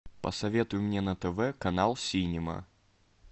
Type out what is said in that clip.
посоветуй мне на тв канал синема